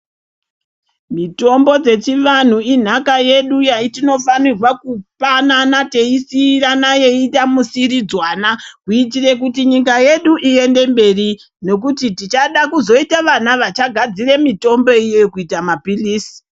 Mitombo dzechivanhu inhaka yedu yetinofanirwa kupanana teisiirana yeiita musiiridzanwa kuitira kuti nyika yedu iende mberi. Nekuti tichada kuzoita vana vachagadzire mitombo iyoyo kuita mapirizi.